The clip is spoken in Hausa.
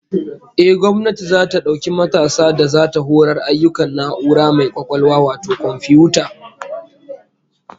Ehh, gwamnati zata dauki matasa da zata horar ayyukan na'ura mai kwakwalwa wato komfiyuta